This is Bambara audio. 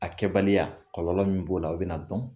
A kɛbaliya kɔlɔlɔ min b'o la , o be na dɔn